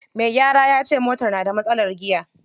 Me gyara yace motar na da matsalar giya.